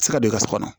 se ka don ka so kɔnɔ